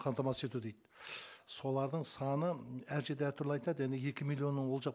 қамтамасыз ету дейді солардың саны әр жерде әртүрлі айтады әне екі миллионның ол жақ